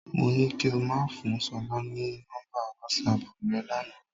Mo ní kí o máa fún Ṣọlá ní nọ́mbà wásaàpù rẹ lánàá.